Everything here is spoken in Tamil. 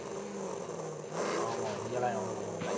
ஆமாம் இங்கெல்லாம் எவனும் கூப்பிடமாட்டாங்க